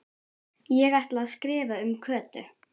Ég ætla að skrifa um Kötu